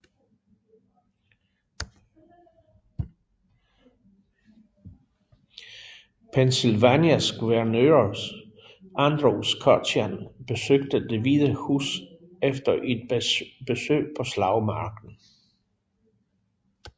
Pennsylvanias guvernør Andrew Curtin besøgte Det hvide Hus efter et besøg på slagmarken